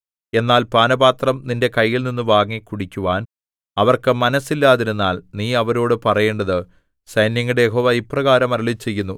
എന്നാൽ പാനപാത്രം നിന്റെ കൈയിൽനിന്നു വാങ്ങി കുടിക്കുവാൻ അവർക്ക് മനസ്സില്ലാതിരുന്നാൽ നീ അവരോടു പറയേണ്ടത് സൈന്യങ്ങളുടെ യഹോവ ഇപ്രകാരം അരുളിച്ചെയ്യുന്നു